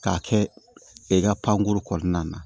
K'a kɛ i ka pankuru kɔnɔna na